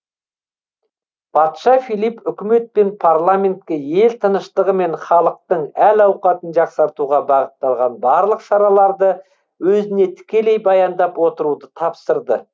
патша филипп үкімет пен парламентке ел тыныштығы мен халықтың әл ауқатын жақсартуға бағытталған барлық шараларды өзіне тікелей баяндап отыруды тапсырды